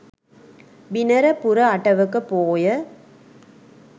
බිනර පුර අටවක පෝය